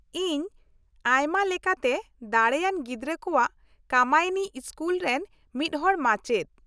ᱤᱧ ᱟᱭᱢᱟ ᱞᱮᱠᱟᱛᱮ ᱫᱟᱲᱮᱭᱟᱱ ᱜᱤᱫᱽᱨᱟᱹ ᱠᱚᱣᱟᱜ ᱠᱟᱢᱟᱭᱤᱱᱤ ᱤᱥᱠᱩᱞ ᱨᱮᱱ ᱢᱤᱫᱦᱚᱲ ᱢᱟᱪᱮᱫ ᱾